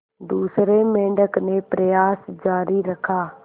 दूसरे मेंढक ने प्रयास जारी रखा